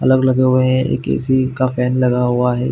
अलग लगे हुए हैं एक ए _सी का फैन लगा हुआ है।